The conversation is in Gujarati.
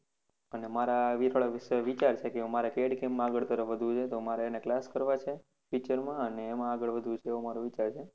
અને મારા મિત્રો વિચારશે કે મારે CADCAM માં આગળ વધવું છે તો મારે એના class કરવા છે future માં અને અમ આગળ વધવું છે આવો મારો વિચાર છે